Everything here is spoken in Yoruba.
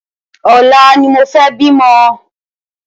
Ọ̀la ni mo fẹ́ bí ọmọ